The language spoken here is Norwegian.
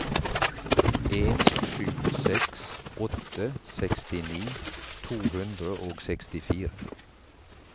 en sju seks åtte sekstini to hundre og sekstifire